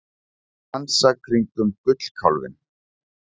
Að dansa kringum gullkálfinn